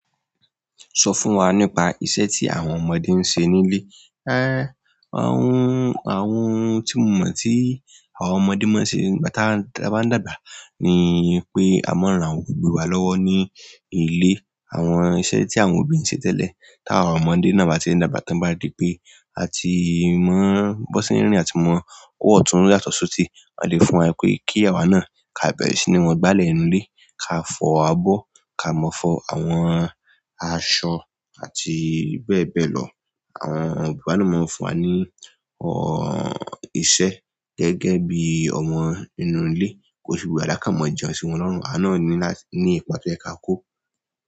Sọ fún wa nípa iṣẹ́ tí àwọn ọmọdé ń ṣe nílé. Àwọn, àwọn ohun tí mo mọ̀ tí àwọn ọmọdé máa ń ṣe nígbà táa ń dàgbà dàgbà ni pé a máa ń ran àwọn òbí wa lọ́wọ́ ní ilé. Àwọn iṣẹ́ tí àwọn òbí ń ṣe tẹ́lẹ̀, táwa ọmọdé náà bá ti ń dàgbà, t'ọ́n bá ri pé a ti mọ b'ọ́n ṣe ń rìn, a ti mọ ọwọ́ ọ̀tún yàtọ̀ s'òsì wọ́n á lè fún wa pé kí àwa náà ká bẹ̀rẹ̀ sí ní wọ́n gbálẹ̀ inú ilé, ká fọ abọ́, ká mọ̀ fọ àwọn aṣọ àti bẹ́ẹ̀ bẹ́ẹ̀ lọ. Àwọn òbí wa ni ó máa ń fún wa ní, ọ́, iṣẹ́ gẹ́gẹ́ bí ọmọ inú ilé, kò fi wé dáadáa ká mọ jẹun sí wọn lọ́rùn, àwa náà ní láti ní ipa tó yẹ ká kó.